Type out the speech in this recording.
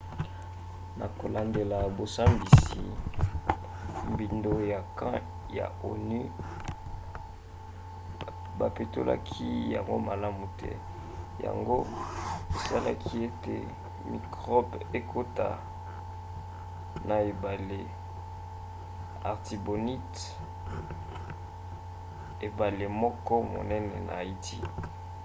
na kolandela bosambisi mbindo ya camp ya onu bapetolaki yango malamu te yango esalaki ete mikrobe ekota na ebale artibonite ebale moko monene na haïti